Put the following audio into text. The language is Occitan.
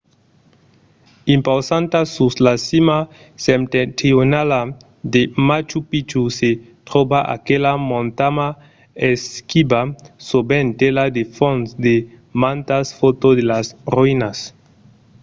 impausanta sus la cima septentrionala de machu picchu se tròba aquela montanha esquiva sovent tela de fons de mantas fòtos de las roïnas